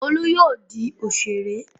Olú yóò di òṣèré!